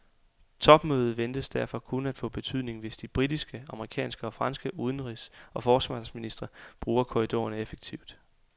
Topmødet ventes derfor kun at få betydning, hvis de britiske, amerikanske og franske udenrigs og forsvarsministre bruger korridorerne effektivt.